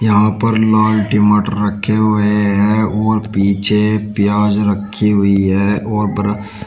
यहां पर लाल टमाटर रखे हुए हैं और पीछे प्याज रखी हुई है और पर--